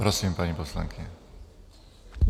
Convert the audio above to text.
Prosím, paní poslankyně.